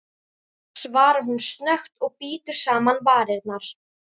svarar hún snöggt og bítur saman varirnar.